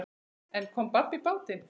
En kom babb í bátinn.